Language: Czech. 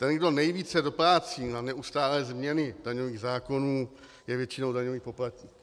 Ten, kdo nejvíce doplácí na neustálé změny daňových zákonů, je většinou daňový poplatník.